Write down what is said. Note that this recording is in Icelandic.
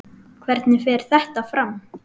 Hvernig fer þetta fram?